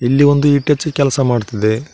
ಇಲ್ಲಿ ಒಂದು ಇಟಚಿ ಕೆಲ್ಸಾ ಮಾಡ್ತಿದೆ.